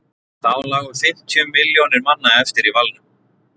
þá lágu fimmtíu milljónir manna eftir í valnum